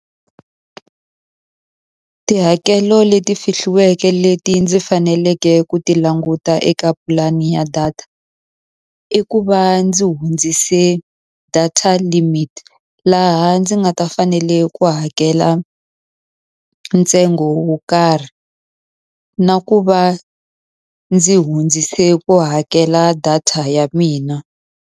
Tihakelo leti fihliweke leti ndzi faneleke ku ti languta eka pulani ya data, i ku va ndzi hundzisa ka data limit. Laha ndzi nga ta fanela ku hakela ntsengo wo karhi. Na ku va ndzi hundzise ku hakela data ya mina.